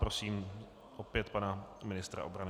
Prosím opět pana ministra obrany.